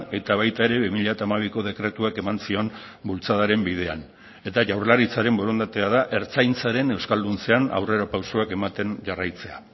eta baita ere bi mila hamabiko dekretuak eman zion bultzadaren bidean eta jaurlaritzaren borondatea da ertzaintzaren euskalduntzean aurrerapausoak ematen jarraitzea